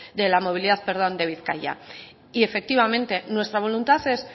de la movilidad de bizkaia y efectivamente nuestra voluntad es